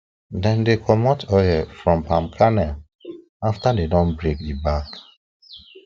dem dey comot oil from palm kernel after dem don break the back